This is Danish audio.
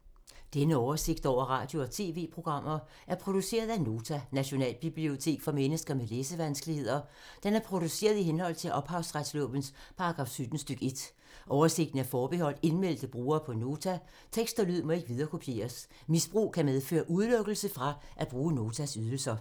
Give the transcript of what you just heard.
Denne oversigt over radio og TV-programmer er produceret af Nota, Nationalbibliotek for mennesker med læsevanskeligheder. Den er produceret i henhold til ophavsretslovens paragraf 17 stk. 1. Oversigten er forbeholdt indmeldte brugere på Nota. Tekst og lyd må ikke viderekopieres. Misbrug kan medføre udelukkelse fra at bruge Notas ydelser.